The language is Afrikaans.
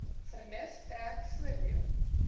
vernuf trek voordeel